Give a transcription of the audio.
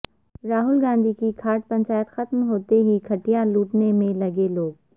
راہل گاندھی کی کھاٹ پنچایت ختم ہوتے ہی کھٹیا لوٹنے میں لگے لوگ